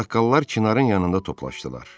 Ağsaqqallar çinarın yanında toplaşdılar.